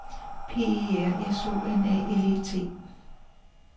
P E R S O N A L E T